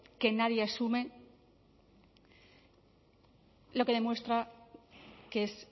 que nadie asume lo que demuestra que es